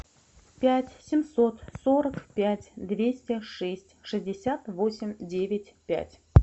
пять семьсот сорок пять двести шесть шестьдесят восемь девять пять